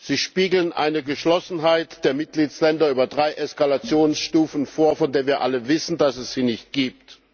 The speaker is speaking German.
Sie spiegeln eine Geschlossenheit der Mitgliedstaaten über drei Eskalationsstufen vor, von der wir alle wissen, dass es sie nicht gibt.